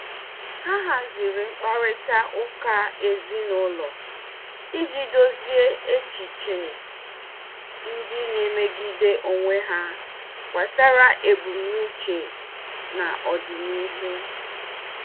Ha haziri mkparịta ụka ezinụlọ iji dozie echiche ndị na-emegide onwe ha gbasara ebumnuche n'ọdịnihu.